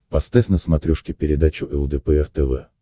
поставь на смотрешке передачу лдпр тв